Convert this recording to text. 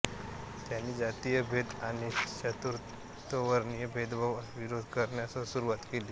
त्यांनी जातीय भेद आणि चातुर्वर्णीय भेदभावास विरोध करण्यास सुरवात केली